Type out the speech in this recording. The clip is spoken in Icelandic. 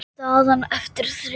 Staðan eftir þrjú ár?